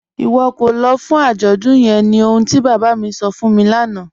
Iwọ kò lọ́ fún ajọ́dún yẹ̀n ní ọ̀hun ti baba mi sọ̀ fún mi lana